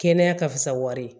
Kɛnɛya ka fisa wari ye